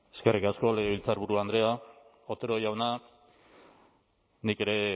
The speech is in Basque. eskerrik asko legebiltzarburu andrea otero jauna nik ere